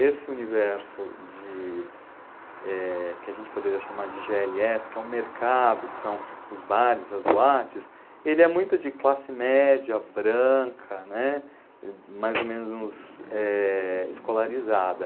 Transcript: Esse universo de, eh, que a gente poderia chamar de gê ele esse, que é o mercado, que são os bares, as boates, ele é muito de classe média, branca, né, mais ou menos, eh escolarizada.